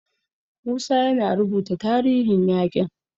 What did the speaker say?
Musa yana rubuta tarihin yaƙin.